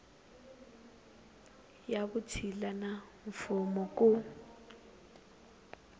ya vutshila na mfuwo ku